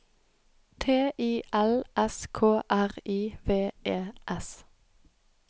T I L S K R I V E S